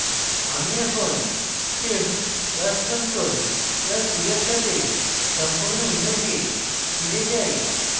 আমি এখন shift + ctrl + e এর সাথে সম্পূর্ণ image ফিরে যাই